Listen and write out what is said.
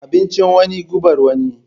Abincin wani, gubar wani.